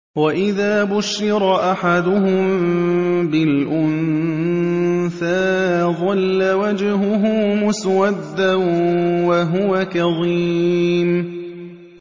وَإِذَا بُشِّرَ أَحَدُهُم بِالْأُنثَىٰ ظَلَّ وَجْهُهُ مُسْوَدًّا وَهُوَ كَظِيمٌ